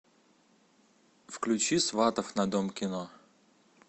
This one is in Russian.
включи сватов на дом кино